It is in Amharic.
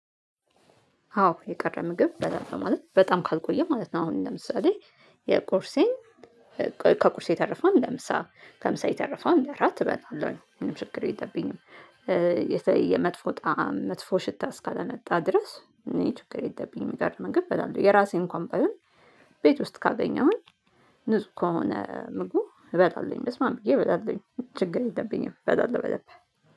አዎ የቀረ ምግብ እበላለሁኝ ማለት በጣም ካልቆየ ማለት ነው። አሁን ለምሳሌ የቁርሴን ከቁርሴ የተረፈውን ለምሳ ከምሳ የተረፈውን ለራት እበላለሁ ምንም ችግር የለብኝም፤። የመጥፎ ጣዕም መጥፎ ሽታ እስካለመጣ ድረስ እኔ ችግር የለብኝም። የቀረ ምግብ እበላለሁ የራሴን እንኳን ባይሆን ቤት ውስጥ ካገኘሁኝ ንጹህ ከሆነ ምግቡ እበላለሁኝ። በስማም ብዬ እበላለሁኝ ችግር የለብኝም በላለሁ በደንብ